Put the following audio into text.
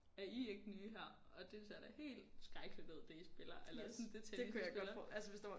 Er I ikke nye her og det ser da helt skrækkeligt ud det I spiller eller sådan det tennis I spiller